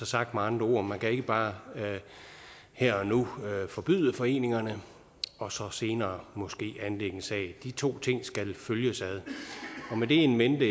sagt med andre ord man kan ikke bare her og nu forbyde foreningerne og så senere måske anlægge en sag de to ting skal følges ad med det in mente